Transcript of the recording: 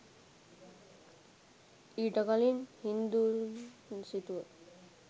ඊට කලින් හින්දූන් සිතුව